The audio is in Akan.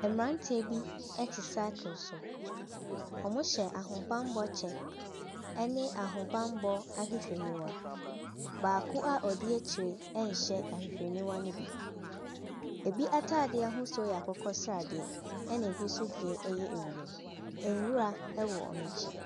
Ɛmberantiɛ bi ɛte saakel so. Ɔmo hyɛ ahobanbɔ kyɛ ɛne ahobanbɔ ahwehwɛ niwa. Baako a odi ekyire nhyɛ ahwehwɛniwa ne bi. Ebi ataadeɛ ahosuo yɛ akokɔsradeɛ ɛna ebi so deɛ ɛyɛ ewiem. Nwura ɛwɔ ɔmo ekyi.